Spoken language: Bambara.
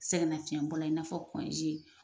Sɛgɛnafiɲɛ bɔra ka n'a fɔ